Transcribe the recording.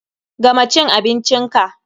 Gama cin abincin ka!